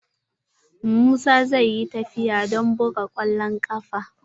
Musa zai yi tafiya don buga kwallon kafa.